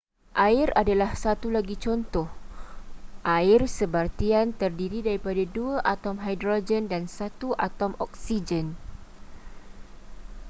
air adalah satu lagi contoh.air sebartian terdiri daripada dua atom hidrogen dan satu atom oksigen